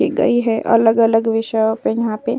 गई है। अलग-अलग विषय यहाँ पे --